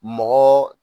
Mɔgɔ